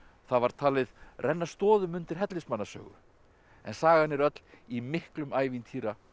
það var talið renna stoðum undir Hellismannasögu en sagan er öll í miklum ævintýra og